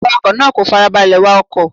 Awakọ̀ náà kò farabalẹ̀ wa ọkọ̀.